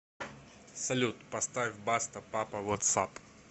салют поставь баста папа вотс ап